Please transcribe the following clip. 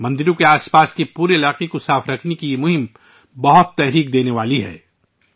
مندروں کے آس پاس کے پورے علاقے کو صاف رکھنے کی یہ مہم بہت متاثر کن ہے